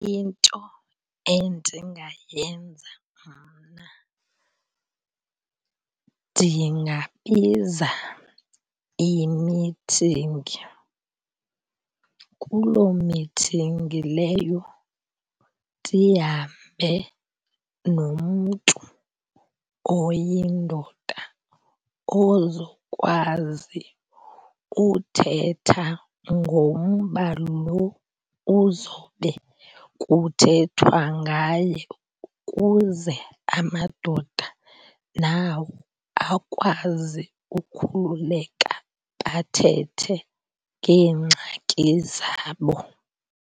Into endingayenza mna ndingabiza imithingi. Kuloo mithingi leyo ndihambe nomntu oyindoda ozokwazi uthetha ngomba lo uzobe kuthethwa ngaye ukuze amadoda nawo akwazi ukhululeka bathethe ngeengxaki zabo.